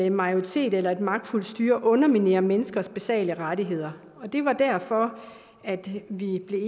en majoritet eller et magtfuld styre underminerer menneskers basale rettigheder det var derfor vi i et